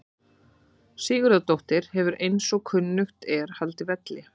Sigurðardóttir hefur eins og kunnugt er haldið velli.